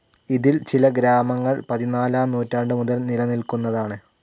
ഇതിൽ ചില ഗ്രാമങ്ങൾ പതിനാലാം നൂറ്റാണ്ടുമുതൽ നിലനിൽക്കുന്നതാണ്.